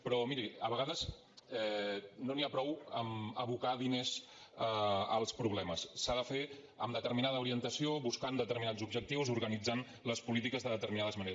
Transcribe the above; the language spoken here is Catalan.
però miri a vegades no n’hi ha prou amb abocar diners als problemes s’ha de fer amb determinada orientació buscant determinats objectius organitzant les polítiques de determinades maneres